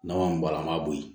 Nama min bɔra an b'a bo yen